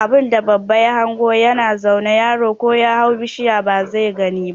Abunda babba ya hango ya na zaune yaro ko ya hau bishiya ba zai gani ba